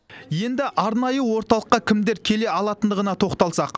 енді арнайы орталыққа кімдер келе алатындығына тоқталсақ